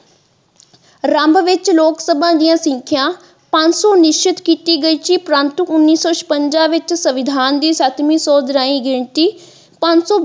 ਆਰੰਭ ਵਿੱਚ ਲੋਕਸਭਾ ਦੀਆ ਸੰਖਿਆ ਪੰਜ ਸੋ ਨਿਸ਼ਚਿਤ ਕੀਤੀ ਗਈ ਸੀ ਪਰੰਤੂ ਉੰਨੀ ਸੋ ਛਪੰਜਾ ਵਿੱਚ ਸਵਿਧਾਨ ਦੀ ਸੱਤਵੀ ਸੋਧ ਰਾਹੀਂ ਗਿਣਤੀ ਪੰਜ ਸੋ।